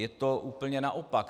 Je to úplně naopak.